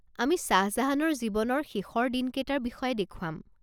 আমি শ্বাহ জাহানৰ জীৱনৰ শেষৰ দিনকেইটাৰ বিষয়ে দেখুৱাম।